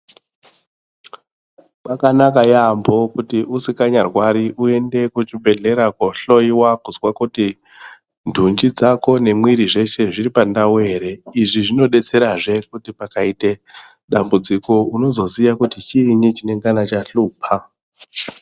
Pakanaka yaambo kuti usikanyarwari uende kuchibhehlera koohloyiwa kuzwe kuti ndunji dzako nemwiiri zvese zviri pandau here. Izvi zvinodetserazve kuti pakaite dambudziko unozoziya kuti chiinyi chinengana chahlupa.